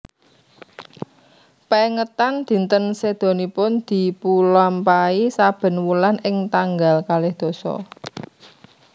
Pengetan dinten sedanipun dipulampahi saben wulan ing tanggal kalih dasa